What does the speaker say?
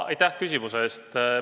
Aitäh küsimuse eest!